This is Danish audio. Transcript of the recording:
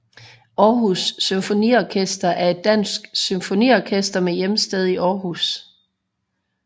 Aarhus Symfoniorkester er et dansk symfoniorkester med hjemsted i Aarhus